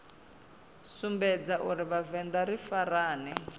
sumbedza uri vhavenḓa ri farane